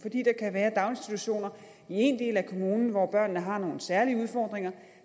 være daginstitutioner i en del af kommunen hvor børnene har nogle særlige udfordringer og